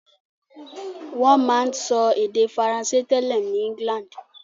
Wọ́n máa ń sọ èdè Faransé tẹ́lẹ̀ ní England